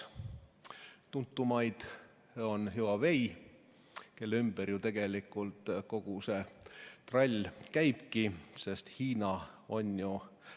Üks tuntuimaid on Huawei, kelle ümber ju tegelikult kogu see trall käibki, sest Hiina on ju ...